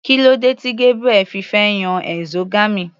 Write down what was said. Kílódé tí Gabriel fi fẹ́ yan exogamy.